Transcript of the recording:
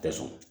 Tɛ sɔn